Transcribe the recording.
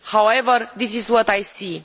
However, this is what I see.